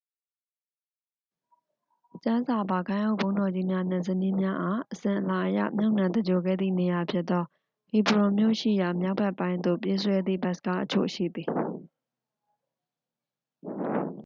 ကျမ်းစာပါ ဂိုဏ်းအုပ်ဘုန်းတော်ကြီးများနှင့် ဇနီးများအား အစဉ်အလာအရ မြုပ်နှံသဂြိုဟ်ခဲ့သည့်နေရာဖြစ်သော ဟီဘရွန်မြို့ရှိရာ မြောက်ဘက်ပိုင်းသို့ ပြေးဆွဲသည့် ဘတ်စ်ကားအချို့ရှိသည်